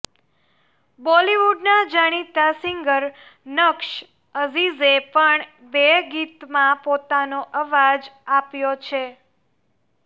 બોલીવુડના જાણીતા સિંગર નક્સ અઝીઝે પણ બે ગીતમાં પોતાનો અવાજ આપ્યો છે